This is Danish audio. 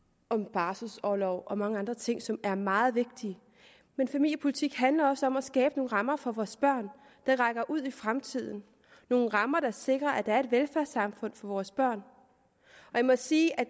barselorlov og mange andre ting som er meget vigtige familiepolitik handler også om at skabe nogle rammer for vores børn der rækker ud i fremtiden nogle rammer der sikrer at der er et velfærdssamfund for vores børn og jeg må sige at